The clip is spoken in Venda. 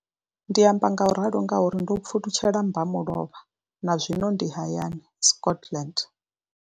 Ndi amba ngauralo nga uri ndo pfulutshela mmba mulovha na zwino ndi hayani, Scotland.